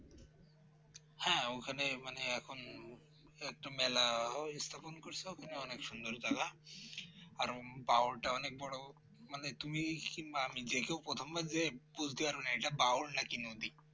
হ্যাঁ ওখানে মানে এখন একটু মেলা ওই তখন করছো ওখানে অনেক সুন্দর জায়গা আর বাওরটা অনেক বড় মানে তুমি কিংবা আমি যেকেউ প্রথমবার যেয়ে একটু বুঝতে পারবে না এটা বাওর নাকি নদী